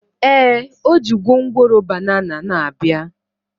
Ee, o ji gwongworo banana na-abịa